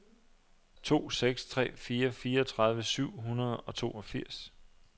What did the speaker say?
to seks tre fire fireogtredive syv hundrede og toogfirs